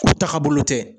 U taga bolo tɛ